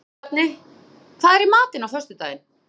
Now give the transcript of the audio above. Jónbjarni, hvað er í matinn á föstudaginn?